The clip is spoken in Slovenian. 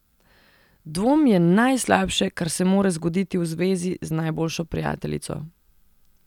Dvom je najslabše, kar se more zgoditi v zvezi z najboljšo prijateljico.